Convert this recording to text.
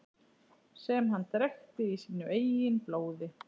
Sem hann drekkti í sínu eigin blóði.